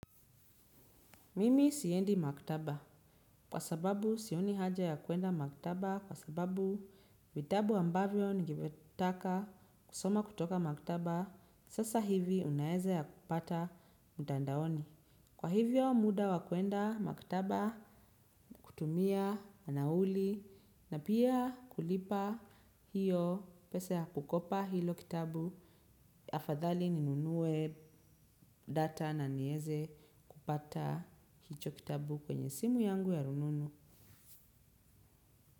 Mimi siendi maktaba kwa sababu sioni haja ya kuenda maktaba kwa sababu vitabu ambavyo ningetaka kusoma kutoka maktaba sasa hivi unaeza ya kupata mtandaoni. Kwa hivyo muda wa kuenda maktaba kutumia nauli na pia kulipa hiyo pesa ya kukopa hilo kitabu afadhali ninunue data na nieze kupata hicho kitabu kwenye simu yangu ya rununu.